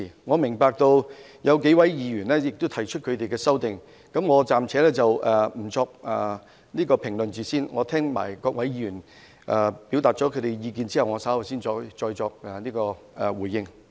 我明白有數位議員會提出修正案，我暫且不作評論，待我聽取各位議員表達意見後，稍後才再作回應。